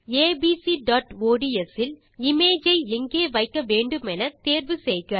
abcஒட்ஸ் இல் இமேஜ் ஐ எங்கே வைக்க வேண்டுமென தேர்வு செய்க